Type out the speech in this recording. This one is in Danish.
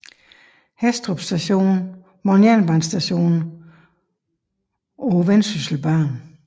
Hæstrup Station var en jernbanestation på Vendsysselbanen